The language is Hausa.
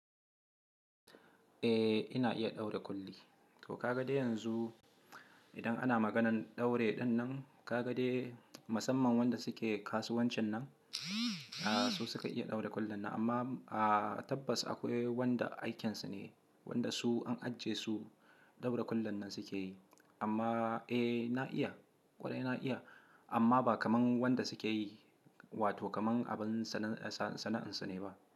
Eh ina iya ɗaura ƙulli. To ka ga dai yanzu idan ana maganan ɗaure ɗin nan, ka ga dai musamman wanda suke kasuwancin nan, a su suka iya ɗaura kullin nan amma a tabbas akwai wanda aikinsu ne, wanda su an ajiye su ɗaura kullin nan suke yi. Amma eh na iya, ƙwarai na iya amma ba kamar wanda suke yi wato kamar abin sana'ansu ne ba.